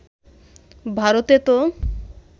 ভারতে তো